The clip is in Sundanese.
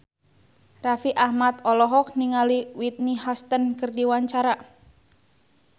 Raffi Ahmad olohok ningali Whitney Houston keur diwawancara